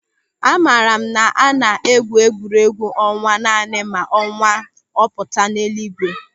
Amara m na a na-egwu egwuregwu ọnwa naanị ma ọnwa ọ pụtara n'elu ígwé.